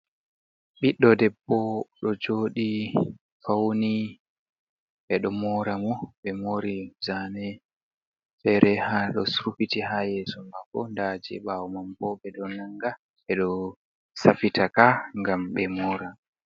Ɓiɗɗo debbo ɗo joɗi fauni ɓe ɗo mora mo be morɗi zane, fere ha ɗo srufiti ha yeso mako, nda je ɓawo manbo ɓe ɗo nanga be do safitaka ngam be mora.